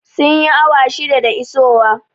Sun yi awa shida da isowa